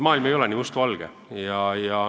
Maailm ei ole aga nii mustvalge.